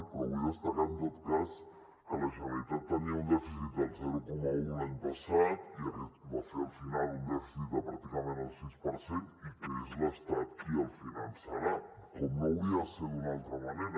però vull destacar en tot cas que la generalitat tenia un dèficit del zero coma un l’any passat i va fer al final un dèficit de pràcticament el sis per cent i que és l’estat qui el finançarà com no hauria de ser d’una altra manera